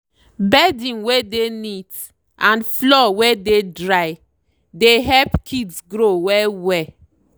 bedding wey dey neat and floor wey dey drythe help kids grow well well.